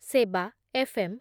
ସେବା, F M